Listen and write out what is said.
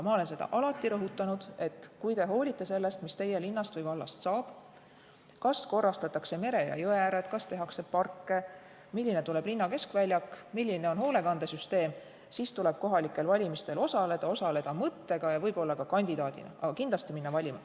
Ma olen alati rõhutanud, et kui te hoolite sellest, mis teie linnast või vallast saab, kas korrastatakse mere- ja jõeääred, kas tehakse parke, milline tuleb linna keskväljak, milline on hoolekandesüsteem, siis tuleb kohalikel valimistel osaleda, osaleda mõttega ja võib-olla ka kandidaadina, aga kindlasti tuleb minna valima.